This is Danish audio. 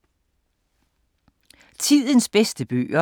Tidens bedste bøger